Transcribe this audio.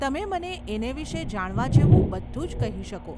તમે મને એને વિષે જાણવા જેવું બધું જ કહી શકો.